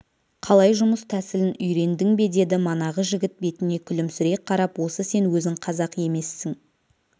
қалай жұмыс тәсілін үйрендің бе деді манағы жігіт бетіне күлімсірей қарап осы сен өзің қазақ емессің